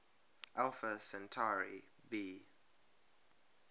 alpha centauri b